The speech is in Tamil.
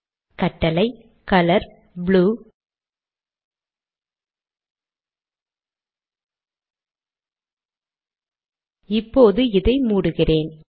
கட்டளை - கலர் ப்ளூ இப்போது இதை மூடுகிறேன்